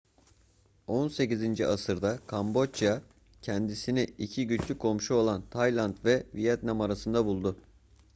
18. asırda kamboçya kendisini iki güçlü komşu olan tayland ve vietnam arasında buldu